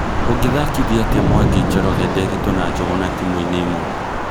Ũngĩthakithia atĩa Mwangi, Njoroge, Nderitu, na Njuguna tĩmuine ĩmwe